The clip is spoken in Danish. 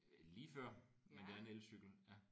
Ja lige før men det er en elcykel ja